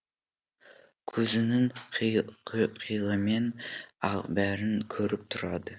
көзінің қиығымен ақ бәрін көріп тұрады